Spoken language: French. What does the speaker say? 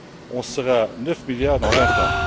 On sera neuf milliards dans vingt ans.